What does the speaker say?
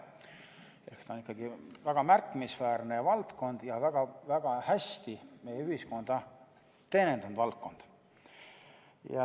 Ehk see on ikkagi väga märkimisväärne valdkond ja väga hästi meie ühiskonda teenindanud valdkond.